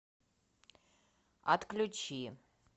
отключи